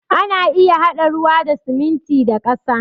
Ana iya haɗa ruwa da siminti da ƙasa